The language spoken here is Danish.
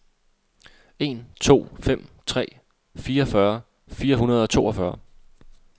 en to fem tre fireogfyrre fire hundrede og toogfyrre